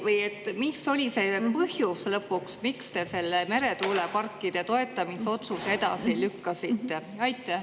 Või mis oli lõpuks see põhjus, miks te selle meretuuleparkide toetamise otsuse edasi lükkasite?